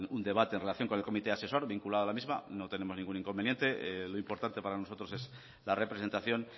un debate en relación con el comité asesor vinculada a la misma no tenemos ningún inconveniente lo importante para nosotros es la representación